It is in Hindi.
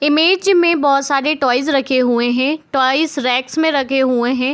इमेज में बहुत सारे टॉयज रखे हुए है टॉयज रेक्स में रखे हुए हैं।